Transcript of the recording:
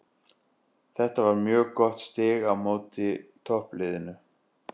Þetta var mjög gott stig á móti toppliðinu.